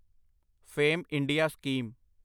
fame India scheme